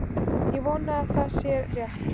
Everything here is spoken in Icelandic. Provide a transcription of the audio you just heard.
Ég vona að það sé rétt.